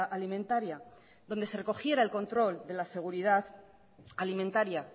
alimentaria donde se recogiera el control de la seguridad alimentaria